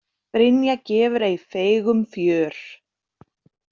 Brynja gefur ei feigum fjör.